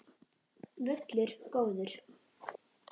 Völlur góður.